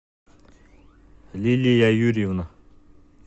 лилия юрьевна